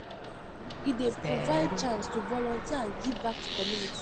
E dey provide chance to volunteer and give back to community.